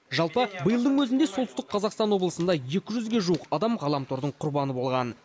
жалпы биылдың өзінде солтүстік қазақстан облысында екі жүзге жуық адам ғаламтордың құрбаны болған